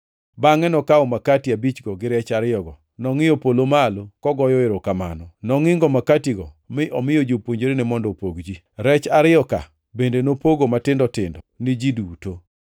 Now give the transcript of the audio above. Bangʼe nokawo makati abichgo gi rech ariyogo nongʼiyo polo malo, kogoyo erokamano. Nongʼingo makatigo mi omiyo jopuonjrene mondo opog ji. Rech ariyo ka bende nopogo matindo tindo ni ji duto.